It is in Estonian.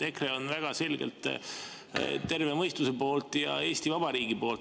EKRE on väga selgelt terve mõistuse poolt ja Eesti Vabariigi poolt.